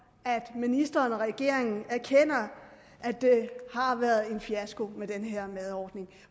at ministeren og regeringen erkender at det har været en fiasko med den her madordning